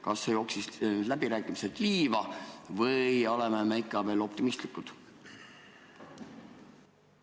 Kas läbirääkimised on liiva jooksnud või on meil alust ikka veel optimistlik olla?